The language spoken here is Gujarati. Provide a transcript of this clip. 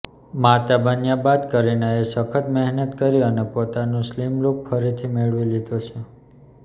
માતા બન્યા બાદ કરીનાએ સખત મહેનત કરી અને પોતાનો સ્લિમ લુક ફરીથી મેળવી લીધો છે